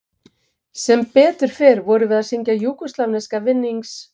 Sem betur fer vorum við að syngja júgóslavneska vinnings